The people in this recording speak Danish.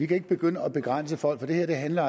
kan begynde at begrænse folk for det her handler